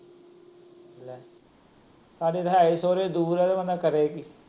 ਲੇ! ਸਾਡੇ ਤਾਂ ਹੇ ਈ ਸੋਹਰੇ ਦੂਰ ਬੰਦਾ ਕਰੇ ਕਿ।